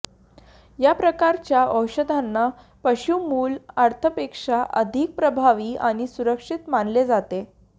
या प्रकारच्या औषधांना पशु मूळ अर्थापेक्षा अधिक प्रभावी आणि सुरक्षित मानले जाते